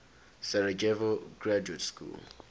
sarajevo graduate school